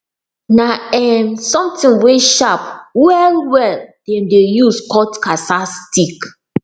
na um something wey sharp well well dem de use cut cassaa stick